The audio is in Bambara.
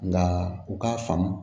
Nka u k'a faamu